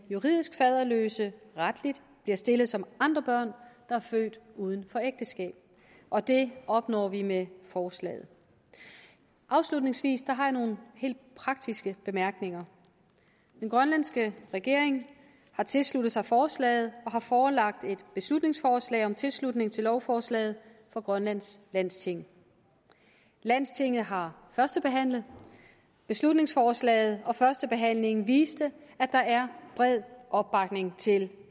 juridisk faderløse retligt bliver stillet som andre børn der er født uden for ægteskab og det opnår vi med forslaget afslutningsvis har jeg nogle helt praktiske bemærkninger den grønlandske regering har tilsluttet sig forslaget og har forelagt et beslutningsforslag om tilslutning til lovforslaget for grønlands landsting landstinget har førstebehandlet beslutningsforslaget og førstebehandlingen viste at der er bred opbakning til